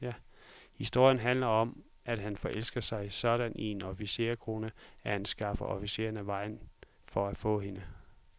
Historien handler om, at han forelskede sig sådan i en officerskone, at han skaffede officeren af vejen for at få hende.